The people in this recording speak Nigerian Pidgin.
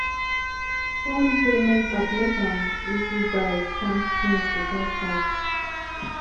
phone payment app make am easy buy farm things without cash